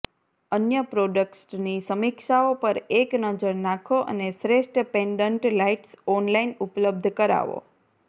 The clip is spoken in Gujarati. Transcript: અન્ય પ્રોડક્ટ્સની સમીક્ષાઓ પર એક નજર નાખો અને શ્રેષ્ઠ પેન્ડન્ટ લાઇટ્સ ઑનલાઇન ઉપલબ્ધ કરાવો